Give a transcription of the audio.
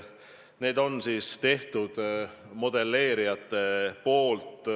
Need on modelleerijate looming.